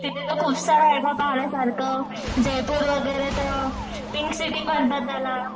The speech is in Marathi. तिथे तर खूप सारं आहे ना पाहण्यासारखं, जयपूर वगैरे तर पिंक सिटी म्हणतात त्याला.